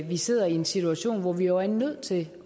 vi sidder i en situation hvor vi er nødt til